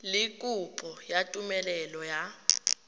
le kopo ya tumelelo ya